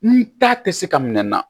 Ni ta tɛ se ka minɛ na